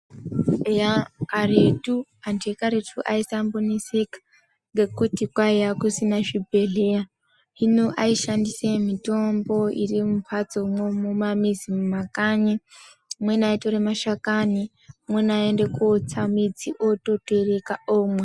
Eya karetu, antu ekaretu aisamboneseka ngekuti kwaiya kusina zvibhehleya hino aishandise mitombo irimumbatsomwo mumamizi mumakanyi, amweni aitore mashakani, amweni aiende kotsa midzi atotereka omwa.